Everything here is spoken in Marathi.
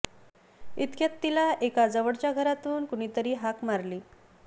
इतक्यात तिला एका जवळच्या घरातून कुणी तरी हाक मारली